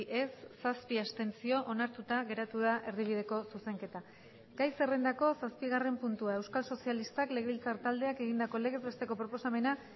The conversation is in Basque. ez zazpi abstentzio onartuta geratu da erdibideko zuzenketa gai zerrendako zazpigarren puntua euskal sozialistak legebiltzar taldeak egindako legez besteko proposamena